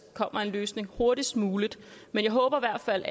kommer en løsning hurtigst muligt men jeg håber i hvert fald